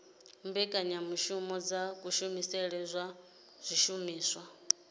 mbekanyamushumo dza kushumisele kwa zwishumiswa